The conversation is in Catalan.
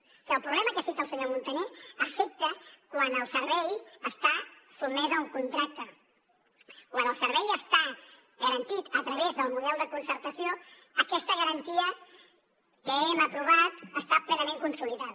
o sigui el problema que cita el senyor muntaner afecta quan el servei està sotmès a un contracte quan el servei està garantit a través del model de concertació aquesta garantia que hem aprovat està plenament consolidada